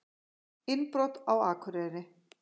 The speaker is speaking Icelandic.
Innbrot á Akureyri